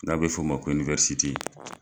N'a bɛ f'ɔ ma ko